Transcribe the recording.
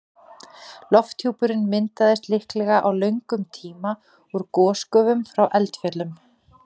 Lofthjúpurinn myndaðist líklega á löngum tíma úr gosgufum frá eldfjöllum.